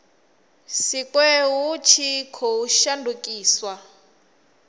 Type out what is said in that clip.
sikwe hu tshi khou shandukiswa